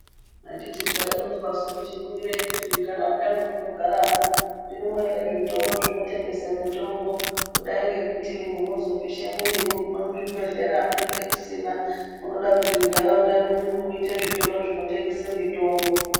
Anditi zvaironzwasu kuti ningirai munharaunda mwamunogaramwo zvirimwo ere zvitoro zvinotengese mitombo kudai ngekuti munozopishe mwiri moguma muzvibhedhlera munenge musina munoda kuti munharaunda mwenyumo muite zvitoro zvinotengese mitombo.